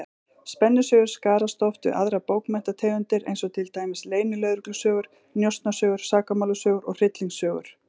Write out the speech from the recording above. Spennusögur skarast oft við aðrar bókmenntategundir, eins og til dæmis leynilögreglusögur, njósnasögur, sakamálasögur og hryllingssögur.